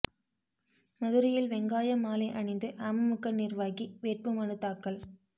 மதுரையில் வெங்காய மாலை அணிந்து அமமுக நிா்வாகி வேட்பு மனு தாக்கல்